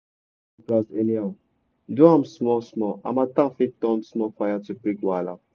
no just burn grass anyhow do am small small harmattan fit turn small fire to big wahala.